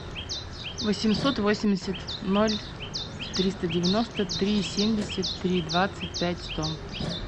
восемьсот восемьдесят ноль триста девяносто три семьдесят три двадцать пять сто